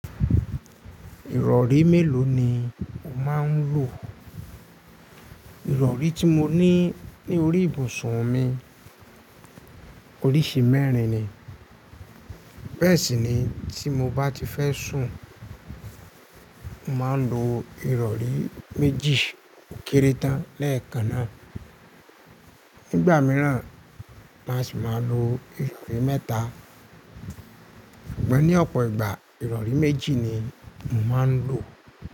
Ìrọ̀rí mélòó ni o máa ń lò? Ìrọ̀rí tí mo ní ní orí ibùsùn mi oríṣi mẹ́rin ni. Bẹ́ẹ̀ sì ni tí mo bá ti fẹ́ sùn, mo màá lo ìrọ̀rí méjì ó kéré tán lẹ́ẹ̀kan náà. Nígbà mìíràn má sì máa lo ìrọ̀rí mẹ́ta. Ṣùgbọ́n ní ọ̀pọ̀ ìgbà ìrọ̀rí méjì ni mo máa ń lò.